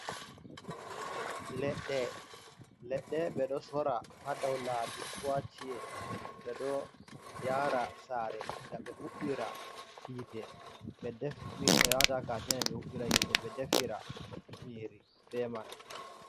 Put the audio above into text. Leɗɗe. Leɗɗe ɓeɗo sora ha dau laabi ko ha chi’e. Beɗo yaara saare ngam ɓe huɓɓira hiite ɓe waɗa ha katene ɓe defira nƴiri be man.